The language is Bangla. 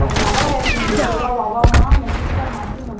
দাদাভাই আসেনি। দ্বিতীয়বার বাবা, মা, মেসোমশাই আর মাসি মনে হয়